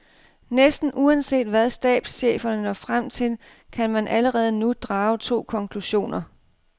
Næsten uanset hvad stabscheferne når frem til, kan man allerede nu drage to konklusioner.